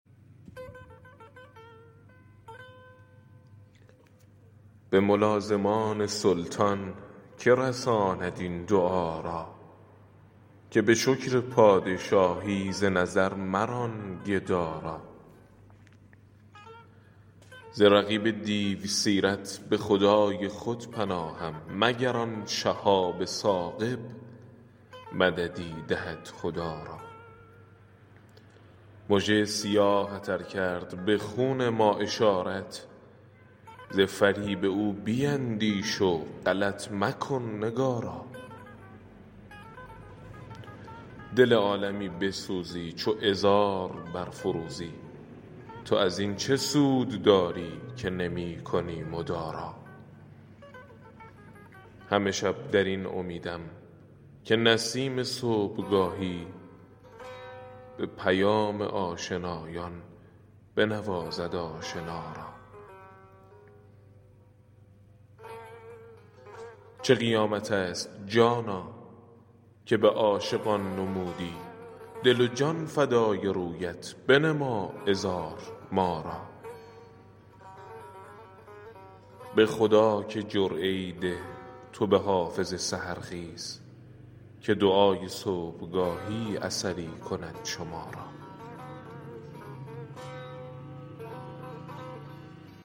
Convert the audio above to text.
به ملازمان سلطان که رساند این دعا را که به شکر پادشاهی ز نظر مران گدا را ز رقیب دیوسیرت به خدای خود پناهم مگر آن شهاب ثاقب مددی دهد خدا را مژه ی سیاهت ار کرد به خون ما اشارت ز فریب او بیندیش و غلط مکن نگارا دل عالمی بسوزی چو عذار برفروزی تو از این چه سود داری که نمی کنی مدارا همه شب در این امیدم که نسیم صبحگاهی به پیام آشنایان بنوازد آشنا را چه قیامت است جانا که به عاشقان نمودی دل و جان فدای رویت بنما عذار ما را به خدا که جرعه ای ده تو به حافظ سحرخیز که دعای صبحگاهی اثری کند شما را